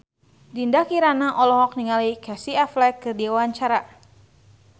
Dinda Kirana olohok ningali Casey Affleck keur diwawancara